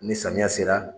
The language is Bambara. Ni samiya sera